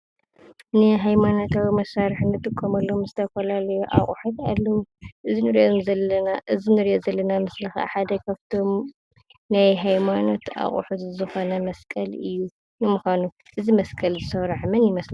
ናይ ሃይማኖታዊ መሳርሒ ንጥቀመሎም ዝተፈላለዩ ኣቑሑ ኣለዉ። እዚ እንሪኦ ዘለና ምስሊ ካዓ ሓደ ካፍቶም ናይ ሃይማኖት ኣቑሑ ዝኾነ መስቀል እዩ። ንምዃኑ እዚ መስቀል እዚ ዝሰርሖ መን ይመስለኩም?